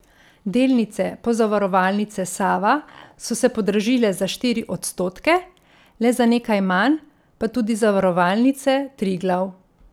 Delnice Pozavarovalnice Sava so se podražile za štiri odstotke, le za nekaj manj pa tudi Zavarovalnice Triglav.